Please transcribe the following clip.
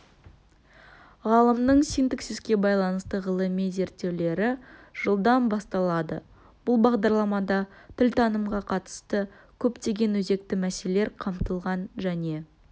ғалымның синтаксиске байланысты ғылыми зерттеулері жылдан басталады бұл бағдарламада тілтанымға қатысты көптеген өзекті мәселелер қамтылған және